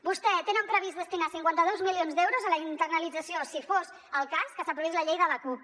vostès tenen previst destinar cinquanta dos milions d’euros a la internalització si fos el cas que s’aprovés la llei de la cup